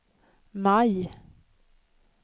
maj